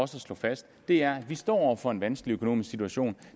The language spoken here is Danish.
slå fast er at vi står over for en vanskelig økonomisk situation